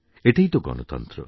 এটাই তো গণতন্ত্র